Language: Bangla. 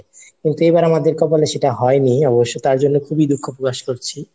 কিন্তু এবার আমাদের কপালে সেটা হয়নি অবশ্য তার জন্য খুবই দুঃখ প্রকাশ করছি।